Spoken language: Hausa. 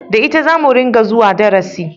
Da ita zamu ringa zuwa darasi